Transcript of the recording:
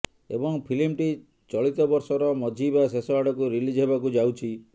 ଏବଂ ଫିଲ୍ମଟି ଚଳିତବର୍ଷର ମଝି ବା ଶେଷ ଆଡ଼କୁ ରିଲିଜ୍ ହେବାକୁ ଯାଉଛି